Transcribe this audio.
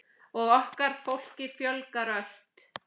Og okkar fólki fjölgar ört.